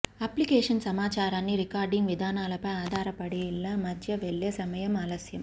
application సమాచారాన్ని recording విధానాలపై ఆధారపడి ల మధ్య వెళ్ళే సమయం ఆలస్యం